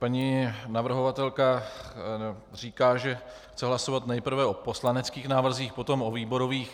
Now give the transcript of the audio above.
Paní navrhovatelka říká, že chce hlasovat nejprve o poslaneckých návrzích, potom o výborových.